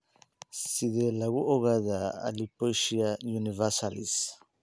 Sidee lagu ogaadaa alopecia universalis?